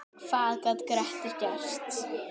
Hvað gat Grettir gert?